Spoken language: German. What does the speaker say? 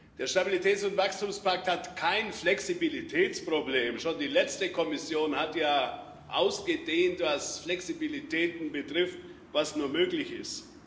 Der Stabilitäts und Wachstumspakt hat kein Flexibilitätsproblem schon die letzte Kommission hat ja ausgedehnt, was Flexibilitäten betrifft, was nur möglich ist